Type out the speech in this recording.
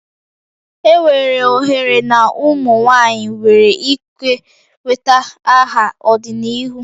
Enwere ohere na ụmụ nwanyị nwere ike nweta aha n'ọdịnihu